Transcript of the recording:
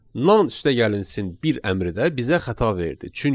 Nan üstəgəlsin bir əmri də bizə xəta verdi.